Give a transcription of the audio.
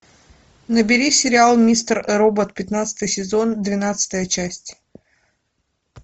набери сериал мистер робот пятнадцатый сезон двенадцатая часть